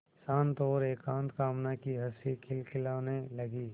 शांत और एकांत कामना की हँसी खिलखिलाने लगी